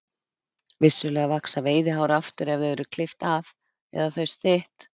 Vissulega vaxa veiðihár aftur ef þau eru klippt af eða þau stytt.